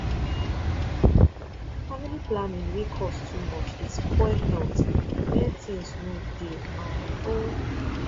family planning wey cost too much dey spoil health where things no dey um o